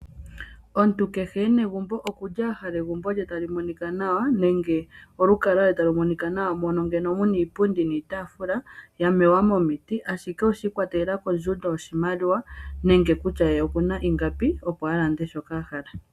Omuntu kehe e na egumbo okuli ahala egumbo lye tali monika nawa, nenge olukalwa lwe tali monika nawa, mono ando muna iipundi niitaafula yamewa momiti, ashike oshiikwatelela kondjundo yoshimaliwa, nenge kutya ye okuna ingapi, opo alande shoka ahala.